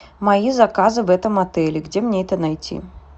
мои заказы в этом отеле где мне это найти